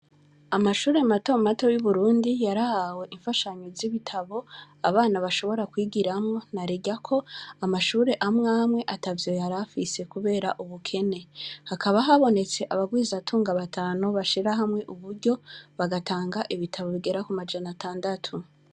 Amashure mato mato y’Uburundi, yarahawe imfashanyo z’ibitabo abana bashobora kwigiramwo, narirya ko amashure amwe amwe atavyo yarafise kubera ubukene. Hakaba habonetse abagwizatunga batanu bashira hamwe uburyo, bagatanga ibitabo bigera ku majana atandatu.